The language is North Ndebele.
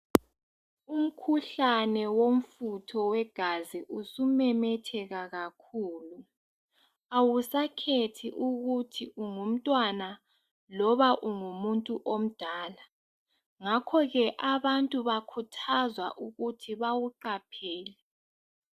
Umkhuhlane womfutho wegazi usumemetheka kakhulu awusakhethi ukuthi ungumtwana loba ungumuntu omdala ngakho ke abantu bakhuthazwa ukuthi bawuqaphele